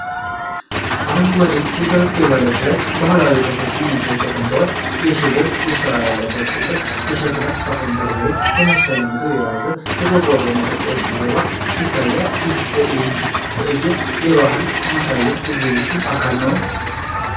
አረንጓዴ የጠረጴዛ ልብስ ላይ ባህላዊ ቅርሶችና ምግቦች ተቀምጠዋል። የሽቦ ስራ ያለበት ቅል፣ የሸክላ ሳህን በርበሬ የመሰለ ምግብ የያዘ እና የቆረቆር መጠጥ ከበስተጀርባ ይታያል። ይህ ትዕይንት የባህል ማሳያ ኤግዚቢሽን አካል ነው?